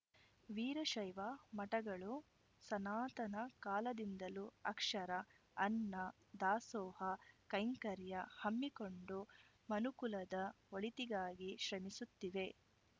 ವೀರಶೈವ ಮಠಗಳು ಸನಾತನ ಕಾಲದಿಂದಲೂ ಅಕ್ಷರ ಅನ್ನ ದಾಸೋಹ ಕೈಂಕರ್ಯ ಹಮ್ಮಿಕೊಂಡು ಮನುಕುಲದ ಒಳಿತಿಗಾಗಿ ಶ್ರಮಿಸುತ್ತಿವೆ